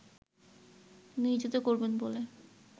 নিয়োজিত করবেন বলে